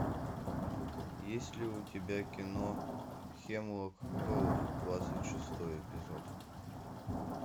есть ли у тебя кино хемлок гроув двадцать шестой эпизод